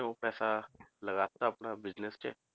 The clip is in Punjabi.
ਉਹ ਪੈਸਾ ਲਗਾ ਦਿੱਤਾ ਆਪਣਾ business 'ਚ